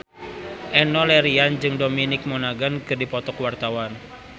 Enno Lerian jeung Dominic Monaghan keur dipoto ku wartawan